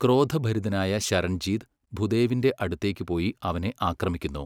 ക്രോധഭരിതനായ ശരൺജീത് ഭുദേവിന്റെ അടുത്തേക്ക് പോയി അവനെ ആക്രമിക്കുന്നു.